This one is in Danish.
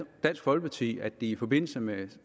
folkeparti at de i forbindelse med